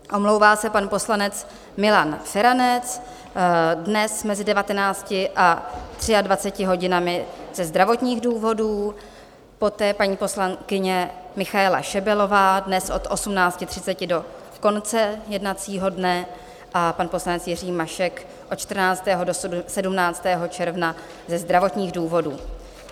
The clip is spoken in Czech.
Omlouvá se pan poslanec Milan Feranec dnes mezi 19 a 23 hodinami ze zdravotních důvodů, poté paní poslankyně Michaela Šebelová dnes od 18.30 do konce jednacího dne a pan poslanec Jiří Mašek od 14. do 17. června ze zdravotních důvodů.